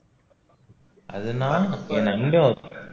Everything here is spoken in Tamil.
அதனால நமக்கு நல்ல offer